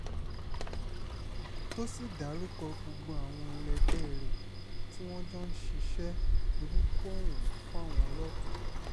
tó sì dárúkọ gbogbo àwọn ẹlẹgbẹ́ rẹ̀ tí wọ́n jọ ń ṣiṣẹ́ burúkú ọ̀hún fáwọn ọlọ́pàá